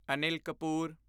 Anil Kapoor